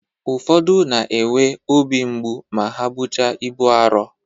Ụfodu na-enwe ọbi mgbụ ma ha bụcha ịbu arọ.